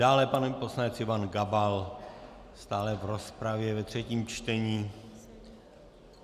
Dále pan poslanec Ivan Gabal stále v rozpravě ve třetím čtení.